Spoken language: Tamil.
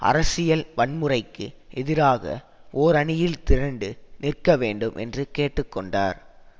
அரசியல் வன்முறைக்கு எதிராக ஓரணியில் திரண்டு நிற்க வேண்டும் என்று கேட்டு கொண்டார்